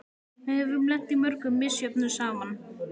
Við höfum lent í mörgu misjöfnu saman.